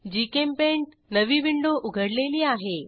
GChemPaint नवी window उघडलेली आहे